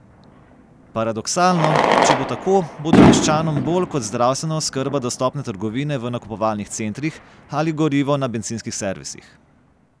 Paradoksalno, če bo tako, bodo meščanom bolj kot zdravstvena oskrba dostopne trgovine v nakupovalnih centrih ali gorivo na bencinskih servisih.